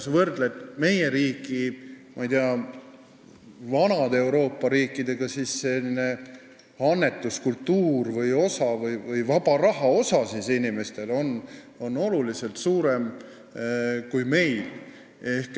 Kui võrrelda meie riiki vanade Euroopa riikidega, siis seal on annetuskultuur teine ja vaba raha osakaal inimestel oluliselt suurem kui meil.